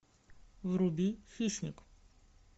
вруби хищник